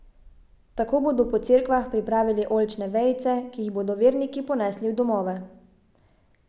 Tako bodo po cerkvah pripravili oljčne vejice, ki jih bodo verniki ponesli v domove.